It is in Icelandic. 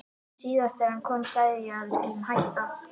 Síðast þegar hann kom sagði ég að við skyldum hætta.